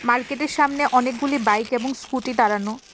মার্কেটের সামনে অনেকগুলি বাইক এবং স্কুটি দাঁড়ানো।